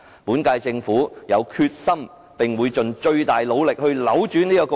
本屆政府有決心並會盡最大努力去扭轉這局面。